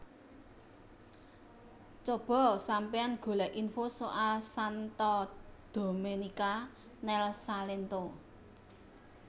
Cobo sampeyan golek info soal Santa Domenica nel Salento